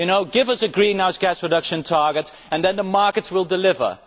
give us a greenhouse gas reduction target and then the markets will deliver'.